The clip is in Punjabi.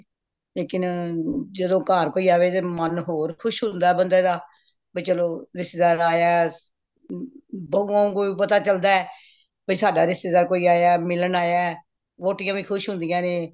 ਲੇਕਿਨ ਜਦੋ ਘਰ ਕੋਈ ਆਵੇ ਤੇ ਮਨ ਹੋਰ ਖੁਸ਼ ਹੁੰਦਾ ਬੰਦੇ ਦਾ ਬਇ ਚਲੋ ਰਿਸ਼ਤੇਦਾਰ ਆਯਾ ਬਵੋ ਕੋਈ ਪਤਾ ਚਲਦਾ ਬਇ ਸਾਡਾ ਕੋਈ ਰਿਸ਼ਤੇਦਾਰ ਆਯਾ ਮਿਲਣ ਆਯਾ ਵੋਟੀਆਂ ਵੀ ਖੁਸ਼ ਹੁੰਦੀਆਂ ਨੇ